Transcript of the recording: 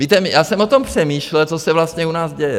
Víte, já jsem o tom přemýšlel, co se vlastně u nás děje.